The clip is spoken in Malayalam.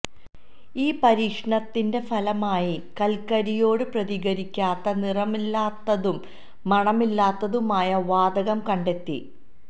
ഈ പരീക്ഷണത്തിന്റെ ഫലമായി കൽക്കരിയോട് പ്രതികരിക്കാത്ത നിറമില്ലാത്തതും മണമില്ലാത്തതുമായ വാതകം കണ്ടെത്തി